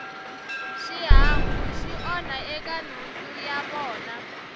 xihangu xi onha eka nhundzu ya vona